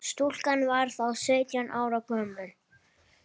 Stúlkan var þá sautján ára gömul